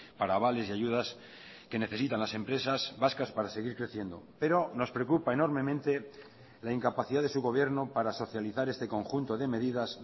para avales y ayudas que necesitan las empresas vascas para seguir creciendo pero nos preocupa enormemente la incapacidad de su gobierno para socializar este conjunto de medidas